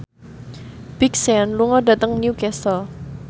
Big Sean lunga dhateng Newcastle